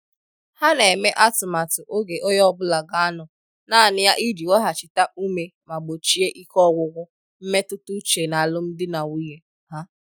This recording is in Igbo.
Ha n'eme atụmatụ oge onye ọbụla ga anọ naanị ya iji weghachita ume ma gbochie ike ọgwụgwụ mmetụta uche n'alụmdi na nwunye ha.